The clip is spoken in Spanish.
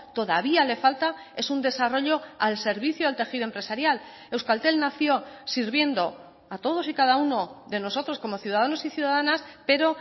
todavía le falta es un desarrollo al servicio del tejido empresarial euskaltel nació sirviendo a todos y cada uno de nosotros como ciudadanos y ciudadanas pero